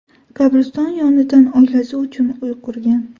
Qabriston yonidan oilasi uchun uy qurgan.